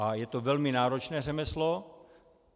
A je to velmi náročné řemeslo.